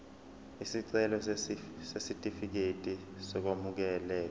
isicelo sesitifikedi sokwamukeleka